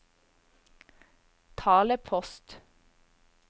talepost